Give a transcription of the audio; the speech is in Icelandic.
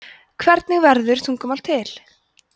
hvernig verður tungumál til